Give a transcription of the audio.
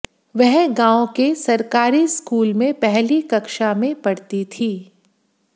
वह गांव के सरकारी स्कूल में पहली कक्षा में पढ़ती थी